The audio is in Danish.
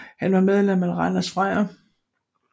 Han var medlem af Randers Freja